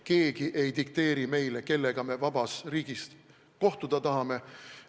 Keegi ei dikteeri meile, kellega me vabas riigis kohtume.